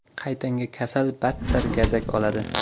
Qaytanga kasal battar gazak oladi.